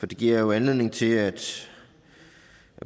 det giver jo anledning til at